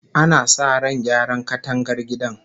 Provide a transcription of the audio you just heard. Ana sa ran gyara katangar gidan